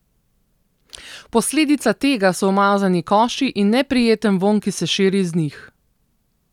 Posledica tega so umazani koši in neprijeten vonj, ki se širi iz njih.